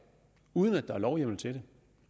uden at der er lovhjemmel til det